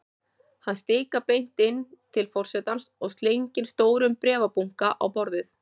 Hann stikar beint inn til forsetans og slengir stórum bréfabunka á borðið.